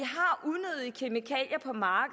har